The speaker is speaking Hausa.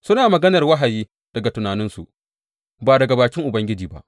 Suna maganar wahayi daga tunaninsu, ba daga bakin Ubangiji ba.